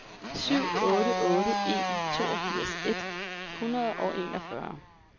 syv otte otte en toogfirs et hundrede og enogfyrre